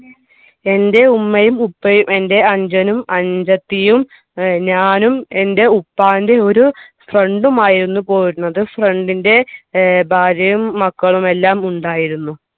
എൻറെ ഉമ്മയും ഉപ്പയും എൻറെ അനുജനും അനുജത്തിയും ഏർ ഞാനും എൻറെ ഉപ്പാന്റെ ഒരു friend ഉം ആയിരുന്നു പോയിരുന്നത് friend ൻ്റെ ഏർ ഭാര്യയും മക്കളും എല്ലാം ഉണ്ടായിരുന്നു